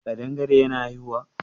kadangare yana haihuwa?